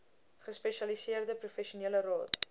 gespesialiseerde professionele raad